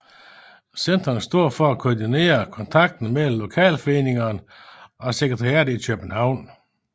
Centrene står for at koordinere kontakten mellem lokalforeningerne og sekretariatet i København